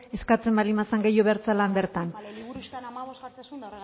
eskatzen baldin bazen gehiago behar zela bertan bale liburuxkan hamabost jartzen zuen